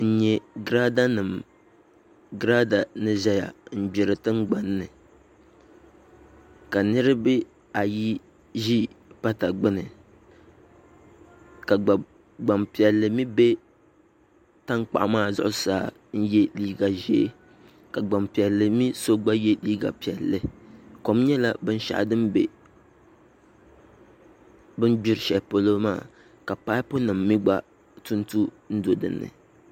N nyɛ girada ni ʒɛya n gbiri tingbanni ka nirabaayi ʒɛya n gbiri tiʋgbanni ka gbaŋpiɛlli mii bɛ tankpaɣu maa zuɣusaa ka yɛ liiga ʒiɛ ka gbanpiɛlli mii so gba yɛ liiga piɛlli kom nyɛla binshaɣu din bɛ bi ni gbiri shɛli polo maa ka paipu nim mii gba tuntu n do dinni